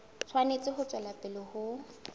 tshwanetse ho tswela pele ho